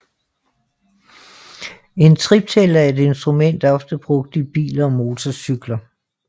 En triptæller er et instrument ofte brugt i biler og motorcykler